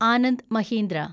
Anand Mahindra